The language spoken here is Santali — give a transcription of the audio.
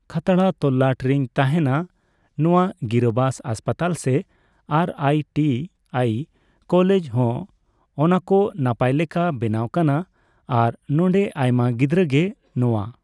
ᱠᱷᱟᱛᱲᱟ ᱛᱚᱞᱞᱟᱴ ᱨᱮᱧ ᱛᱟᱦᱮᱱᱟ ᱱᱚᱣᱟ ᱜᱤᱨᱟᱹᱵᱟᱥ ᱦᱟᱥᱯᱟᱛᱟᱞ ᱥᱮ ᱟᱨ ᱟᱭᱹᱴᱤᱹᱟᱭ ᱠᱚᱞᱮᱡᱽ ᱦᱚᱸᱜᱼᱚ ᱱᱟᱠᱚ ᱱᱟᱯᱟᱭ ᱞᱮᱠᱟ ᱵᱮᱱᱟᱣ ᱠᱟᱱᱟ ᱟᱨ ᱱᱚᱰᱮ ᱟᱭᱢᱟ ᱜᱤᱫᱽᱨᱟᱹᱜᱮ ᱱᱚᱣᱟ